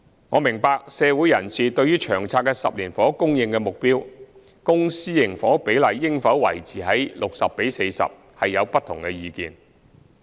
我明白，社會人士對於《長策》的10年房屋供應目標，公私營房屋比例應否維持 60：40， 有不同意見。